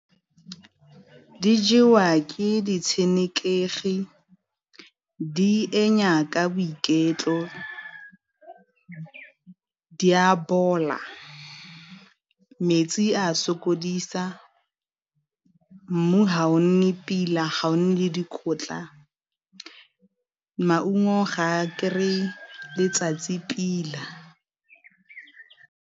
Di jewa ke ditshenekegi di ka boiketlo, di a bola, metsi a sokodisa, mmu ga o nne pila ga o nne le dikotla, maungo ga a kry-e letsatsi pila.